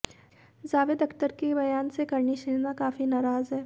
जावेद अख्तर के बयान से करणी सेना काफी नाराज है